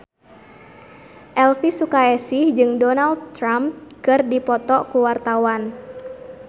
Elvi Sukaesih jeung Donald Trump keur dipoto ku wartawan